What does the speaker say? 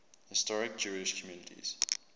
historic jewish communities